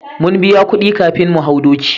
Mun biya kudi kafin mu hau doki